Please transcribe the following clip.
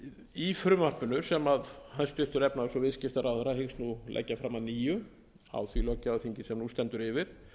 í frumvarpinu sem efnahags og viðskiptaráðherra hyggst leggja fram að nýju á því löggjafarþingi sem nú stendur yfir